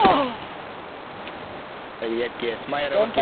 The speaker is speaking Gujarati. યાર cash મા હવે